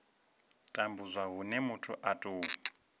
tambudzwa hune muthu a tou